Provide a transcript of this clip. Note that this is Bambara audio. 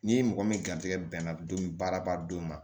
Ni mɔgɔ min garizigɛ bɛnna don baara ba don ma